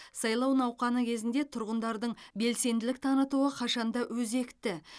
сайлау науқаны кезінде тұрғындардың белсенділік танытуы қашан да өзекті